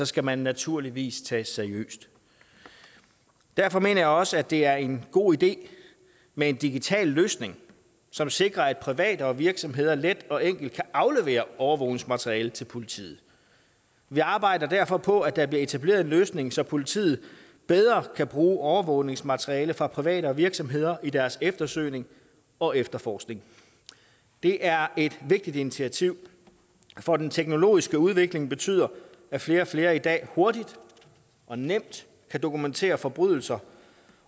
skal man naturligvis tages seriøst derfor mener jeg også at det er en god idé med en digital løsning som sikrer at private og virksomheder let og enkelt kan aflevere overvågningsmateriale til politiet vi arbejder derfor på at der bliver etableret en løsning så politiet bedre kan bruge overvågningsmateriale fra private og virksomheder i deres eftersøgning og efterforskning det er et vigtigt initiativ for den teknologiske udvikling betyder at flere og flere i dag hurtigt og nemt kan dokumentere forbrydelser